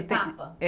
Etapa? É.